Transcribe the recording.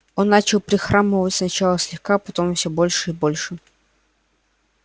он начал прихрамывать сначала слегка потом все больше и больше